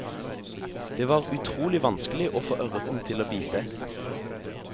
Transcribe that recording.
Det var utrolig vanskelig å få ørreten til å bite.